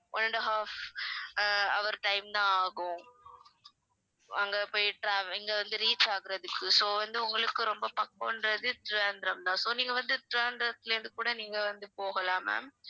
one and a half uh hour time தான் ஆகும் அங்க போயி trave~ இங்க வந்து reach ஆகுறதுக்கு so வந்து உங்களுக்கு ரொம்ப பக்கம்ன்றது திருவனந்தபுரம் தான் so நீங்க வந்து திருவனந்தபுரம்ல இருந்து கூட நீங்க வந்து போகலாம் ma'am